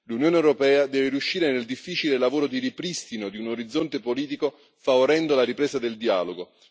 L'Unione europea deve riuscire nel difficile lavoro di ripristino di un orizzonte politico, favorendo la ripresa del dialogo.